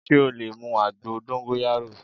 Sé o lè mu àgbo dóngóyárò